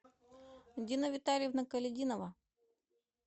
дина витальевна колядинова